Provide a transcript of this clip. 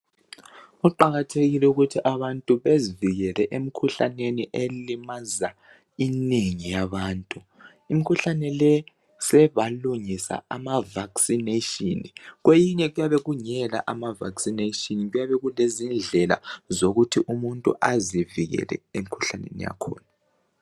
Kuqakathekile ukuthi abantu bezivikele emkhuhlaneni elimaza inengi yabantu. Imkhuhlane le sebalungisa ama vaccination kweyinye kuyabe kungela amavaccination kuyabe kulezidlela zokuthi umuntu azivikele emkhuhlaneni yakhona.